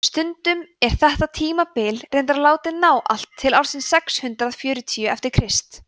stundum er þetta tímabil reyndar látið ná allt til ársins sex hundruð fjörutíu eftir krist